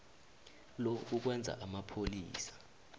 lo kukwenza amapholisa